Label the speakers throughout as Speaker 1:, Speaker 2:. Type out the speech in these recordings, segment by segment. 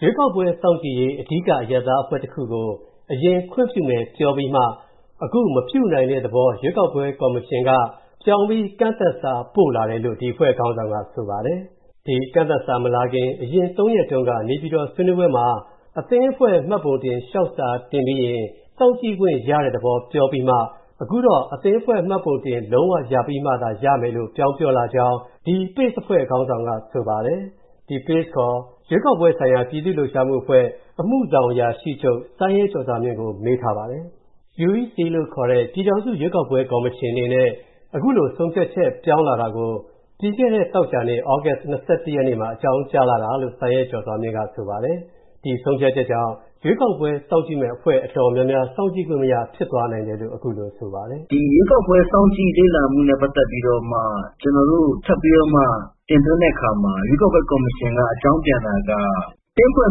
Speaker 1: ရွေးကောက်ပွဲစောင့်ကြည့်ရေး အဓိကအရပ်သားတခုကို အရင်ခွင့်ပြုမယ်ပြောပြီးမှ အခုမပြုနိုင်တဲ့သဘော ရွေးကောက်ပွဲ ကော်မရှင်က ပြောင်းပြီး ကန့်သတ်စာပို့လာတယ်လို့ ဒီအဖွဲ့ခေါင်းဆောင်က ဆိုပါတယ်။ ဒီကန့်သတ်စာမလာခင် အရင် သုံးရက်တုန်းက နေပြည်တော် ဆွေးနွေးပွဲမှာ အသင်းအဖွဲ့ မှတ်ပုံတင်လျှောက်စာတင်ပြီးရင် စောင့်ကြည့်ခွင့်ရတဲ့သဘော ပြောပြီးမှ အခုတော့ အသင်းအဖွဲ့မှတ်ပုံတင်လုံး၀ ရပြီးမှသာ ရမယ်လို့ ပြောင်းပြောလာကြောင်း ဒီ PACE အဖွဲ့ ခေါင်းဆောင်က ဆိုပါတယ်။ ဒီ PACE ခေါ် ရွေးကောက်ပွဲဆိုင်ရာ ပြည်သူ့လှုပ်ရှားမှု အမှုဆောင်အရာရှိချုပ် စိုင်းရဲကျော်စွာမြင့်ကို မေးထားပါတယ်။ UEC လို့ခေါ်တဲ့ ပြည်ထောင်စုရွေးကောက်ပွဲ ကော်မရှင်အနေနဲ့ အခုလို ဆုံးဖြတ်ချက်ပြောင်းလာတာကို ပြီးခဲ့တဲ့ သောကြာနေ့ သြဂုတ် ၂၁ ရက်နေ့မှာ အကြောင်းကြားလာတာလို့ စိုင်းရဲကျော်စွာမြင့်က ဆိုပါတယ်။ ဒီဆုံးဖြတ်ချက်ကြောင့် ရွေးကောက်ပွဲစောင့်ကြည့်မယ့်အဖွဲ့ တော်တော်များများ စောင့်ကြည့်ခွင့်မရ ဖြစ်သွားနိုင်တယ်လို့ အခုလိုဆိုပါတယ်
Speaker 2: ။ "ဒီ ရွေးကောက်ပွဲစောင့်ကြည့်လေ့လာမှုနဲ့ ပတ်သက်ပြီးတော့မှ ကျနော်တို့ ထပ်ပြီးတော့မှ တင်သွင်းတဲ့အခါမှာ ရွေးကောက်ပွဲကော်မရှင်က အကြောင်းပြန်တာက အသင်းအဖွဲ့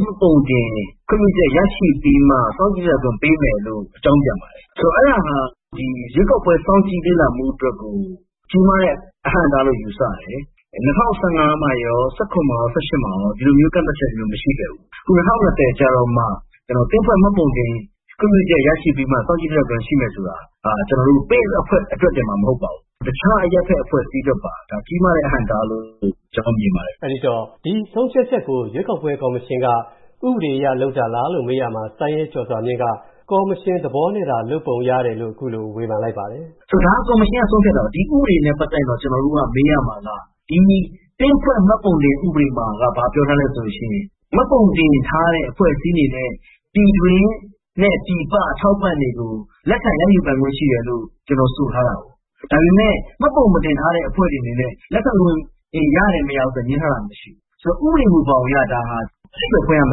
Speaker 2: မှတ်ပုံတင် ခွင့်ပြုချက်ရရှိပြီးမှ စောင့်ကြည့်နိုင်ခွင့် ပေးမယ်လို့ အကြောင်းပြန်ပါတယ်။ ဆိုတော့ အဲ့ဒါဟာ ရွေးကောက်ပွဲစောင့်ကြည့်လေ့လာမှုအတွက်ကို ကြီးမားတဲ့ အဟန့်အတားလို့ ယူဆတယ်။ ၂၀၁၅ မှာရော၊ ၁၇ မှာရော၊ ၁၈ မှာရော ဒီလိုမျိုး ကန့်သတ်ချက်မျိုးမရှိခဲ့ဘူး။ အခု ၂၀၂၀ ကျတော့မှ အသင်းအဖွဲ့ မှတ်ပုံတင် ခွင့်ပြုချက် ရရှိပြီးတော့မှ စောင့်ကြည့်လေ့လာခွင့်ရှိမယ်ဆိုတာ ကျနော်တို့ PACE အဖွဲ့တင်မှမဟုတ်ပါဘူး။ တခြားအရပ်ဘက် အဖွဲ့အစည်းအတွက်ပါ ကြီးမားတဲ့ အဟန့်အတားလို့ ကျနော်တော့ မြင်ပါတယ်
Speaker 1: ။" အဲဒီတော့ ဒီဆုံးဖြတ်ချက်ကို ရွေးကောက်ပွဲ ကော်မရှင်က ဥပဒေအရလုပ်တာပါလားလို့ မေးရာမှာ စိုင်းရဲကျော်စွာမြင့်က ကော်မရှင်သဘောနဲ့သာ လုပ်ပုံရတယ်လို့ အခုလို ဝေဖန်လိုက်ပါတယ်
Speaker 2: ။ "ဒါကော်မရှင်က ဆုံးဖြတ်တာပါ။ ဒီဥပဒေနဲ့ ပတ်သက်ရင်တော့ ကျနော်တို့က မေးရမှာက ဒီ အသင်းဖွဲ့ မှတ်ပုံတင် ဥပဒေမှာက ဘာပြောထားလဲဆိုလို့ရှိရင် မှတ်ပုံတင်ထားတဲ့ အဖွဲ့အစည်းအနေနဲ့ ပြည်တွင်းနဲ့ ပြည်ပ အထောက်အပံ့တွေကို လက်ခံရယူပိုင်ခွင့်ရှိတယ်လို့ ဒီလို ဆိုထားပါတယ်။ ဒါပေမဲ့ မှတ်ပုံမတင်ထားတဲ့ အဖွဲ့တွေအနေနဲ့ လက်ခံခွင့်တွေ ရတယ်၊ မရဘူးဆိုတာ ငြင်းထားတာ မရှိဘူး။ ဆိုတော့ ဥပဒေမူဘောင်အရ ဒါဟာ အဓိပ္ပါယ်ဖွင့်ရမ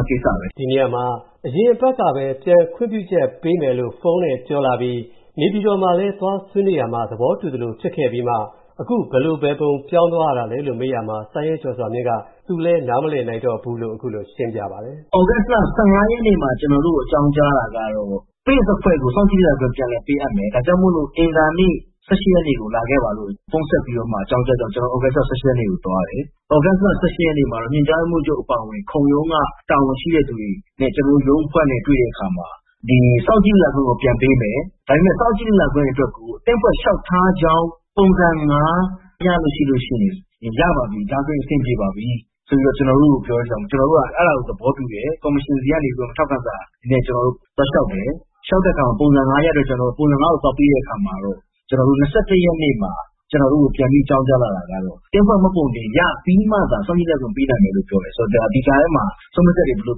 Speaker 2: ယ့် ကိစ္စပဲ
Speaker 1: ။" ဒီနေရာမှာ အရင်အပတ်ကပဲ ပြန်ခွင့်ပြုချက်ပေးမယ်လို့ ဖုန်းနဲ့ပြောလာပြီး နေပြည်တော်မှာလည်း သွားဆွေးနွေးရာမှာ သဘောတူသလို ဖြစ်ခဲ့ပြီးမှ အခုဘယ်လိုဘယ်ပုံ ပြောင်းသွားတာလဲလို့ မေးရမှာ စိုင်းရဲကျော်စွာမြင့်က သူလည်း နားမလည်နိုင်တော့ဘူးလို့ အခုလို ရှင်းပြပါတယ်
Speaker 2: ။ "သြဂုတ်လ ၁၅ရက်နေ့မှာ ကျနော်တို့ကို အကြောင်းကြားတာကတော့ PACE အဖွဲ့ကို စောင့်ကြည့်တဲ့အဖွဲ့အဖြစ် ပြန်လည်ပေးအပ်မယ်။ ဒါကြောင့်မို့ အင်္ဂါနေ့ ၁၈ ရက်နေ့ကို လာခဲ့ပါလို့ ဖုန်းဆက်ပြီးတော့ အကြောင်းကြားတဲ့အတွက်ကြောင့် ကျနော်တို့ သြဂုတ်လ ၁၈ ရက်နေ့မှာ သွားတယ်။ သြဂုတ်လ ၁၈ ရက်နေ့မှာတော့ ညွှန်ကြားရေးမှူးချုပ် ခုံရုံးက တာဝန်ရှိတဲ့သူတွေနဲ့ ကျနော်တို့ ရုံးအဖွဲ့နဲ့ တွေ့တဲ့အခါမှာ ဒီစောင့်ကြည့်လေ့လာခွင့်ကို ပြန်ပေးမယ်၊ ဒါပေမဲ့ စောင့်ကြည့်လေ့လာခွင့်အတွက်ကို အသင်းအဖွဲ့လျှောက်ထားကြောင်း ပုံစံ ၅ ရလို့ရှိရင် ရပါပြီ၊ ဒါဆိုအဆင်ပြေပါပြီ ဆိုပြီးတော့ ကျနော်တို့ကို ပြောတဲ့အတွက်ကြောင့် ကျနော်တို့က အဲဒါကို သဘောတူတယ်။ ကော်မရှင်ဆီကနေပြီးတော့ ထောက်ခံစာနဲ့ ကျနော်တို့သွားလျှောက်တယ်။ လျှောက်တဲ့အခါမှာ ပုံစံ ၅ ရတဲ့အတွက် ပုံစံ ၅ ကို သွားပေးတဲ့အခါမှာတော့ ကျနော်တို့ ၂၁ ရက်နေ့မှာ ကျနော်တို့ကို ပြန်ပြီးအကြောင်းကြားလာတာကတော့ အသင်းအဖွဲ့မှတ်ပုံတင်ရပြီးမှသာ စောင့်ကြည့်လေ့လာခွင့်ကို ပေးနိုင်မယ်လို့ပြောတယ်။ ဆိုတော့ ဒါ ဒီကြားထဲမှာ ဆုံးဖြတ်ချက်တွေ ဘယ်လိ
Speaker 1: ု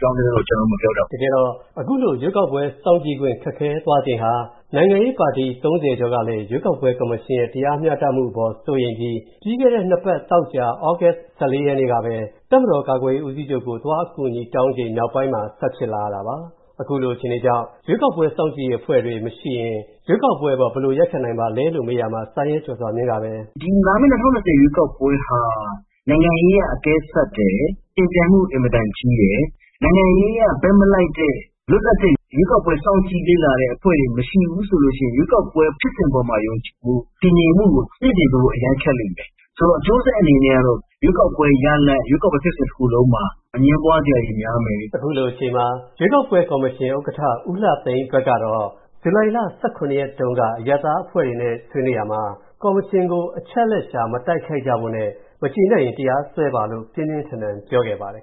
Speaker 1: ပြောင်းသွားသလဲတော့ ကျနော်လည်း မပြောတတ်ဘူး။" တကယ်တော့ အခုလို ရွေးကောက်ပွဲစောင့်ကြည့်ခွင့် ခက်ခဲသွားခြင်းဟာ နိုင်ငံရေးပါတီ ၃၀ ကျော်ကလည်း ရွေးကောက်ပွဲကော်မရှင်ရဲ့ တရားမျှတမှုအပေါ် စိုးရိမ်ပြီး ပြီးခဲ့တဲ့ နှစ်ပတ် သောကြာ သြဂုတ် ၁၄ ရက်နေ့ကပဲ တပ်မတော် ကာကွယ်ရေးဦးစီးချုပ်ကို သွားအကူအညီတောင်းချိန် နောက်ပိုင်းမှာ ဆက်ဖြစ်လာရတာပါ။ အခုလို အခြေအနေကြောင့် ရွေးကောက်ပွဲစောင့်ကြည့်ရေးအဖွဲ့တွေ မရှိရင် ရွေးကောက်ပွဲအပေါ် ဘယ်လို ရပ်ခံနိုင်ပါသလဲလို့ မေးရာမှာ စိုင်းရဲကျော်စွာမြင့်ပဲ.... "
Speaker 2: ဒီ လာမယ့် ၂၀၂၀ ရွေးကောက်ပွဲဟာ နိုင်ငံရေးအရ အကဲစပ်တယ်၊ ယှဉ်ပြိုင်မှုအင်မတန်ကြီးတယ်။ နိုင်ငံရေးအရ ဘက်မလိုက်တဲ့ လွတ်လပ်တဲ့ ရွေးကောက်ပွဲစောင့်ကြည့်လေ့လာတဲ့ အဖွဲ့တွေမရှိဘူးဆိုလို့ရှိရင် ရွေးကောက်ပွဲ ဖြစ်စဉ်ပေါ်မှာ ယုံကြည်မှု၊ တည်ငြိမ်မှုကို မြှင့်တင်ပေးဖို့အရမ်းခက်လိမ့်မယ်။ ဆိုတော့ အကျိုးဆက်အနေနဲ့ကတော့ ရွေးကောက်ပွဲ ရလဒ်၊ ရွေးကောက်ပွဲ ဖြစ်စဉ်တခုလုံးမှာ အငြင်းပွားစရာတွေများမယ်။" အ
Speaker 1: ခုလိုအချိန်မှာ ရွေးကောက်ပွဲကော်မရှင် ဥက္ကဋ္ဌ ဦးလှသိန်းအတွက်ကတော့ ဇူလိုင်လ ၁၇ ရက်တုန်းက အရပ်သားအဖွဲ့တွေနဲ့ ဆွေးနွေးရာမှာ ကော်မရှင်ကို အချက်အလက်ရှာ မတိုက်ခိုက်ကြဖို့နဲ့ မကျေနပ်ရင် တရားစွဲပါလို့ ပြင်းပြင်းထန်ထန် ပြောခဲ့ပါတယ်